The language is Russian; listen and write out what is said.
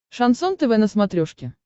шансон тв на смотрешке